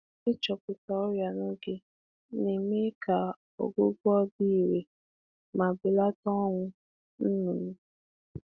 Ịmata ọrịa n’oge na-eme ka ọgwụgwọ gaa nke ọma nke ọma ma na-ebelata ọnwụ ìgwè.